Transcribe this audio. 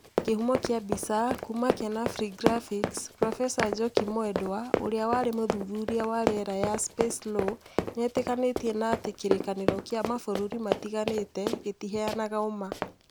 Kĩhumo kĩa mbica kuma kenafri graphics Profesa Njoki Mwendwa, ũrĩa warĩ mũthuthuria wa rĩera ya 'Space Law' ni etĩkanĩtie na atĩ kĩrĩkanĩro kĩa mabũrũri matiganĩte gĩtiheanaga ũma